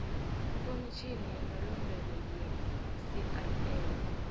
ikomitjhini yamalungelo yecrl